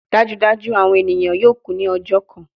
Dajudaju awọn eniyan yoo ku ni ọjọ kan